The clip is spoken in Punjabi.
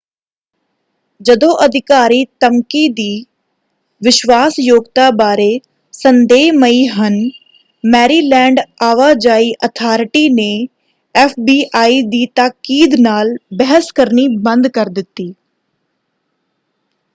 ਜਦੋਂ ਅਧਿਕਾਰੀ ਧਮਕੀ ਦੀ ਵਿਸ਼ਵਾਸਯੋਗਤਾ ਬਾਰੇ ਸੰਦੇਹਮਈ ਹਨ ਮੈਰੀਲੈਂਡ ਆਵਾਜਾਈ ਅਥਾਰਟੀ ਨੇ ਐਫਬੀਆਈ ਦੀ ਤਾਕੀਦ ਨਾਲ ਬਹਿਸ ਕਰਨੀ ਬੰਦ ਕਰ ਦਿੱਤੀ।